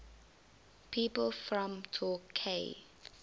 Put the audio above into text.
people from torquay